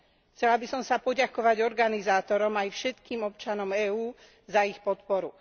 Chcela by som sa poďakovať organizátorom, aj všetkým občanom EÚ za ich podporu.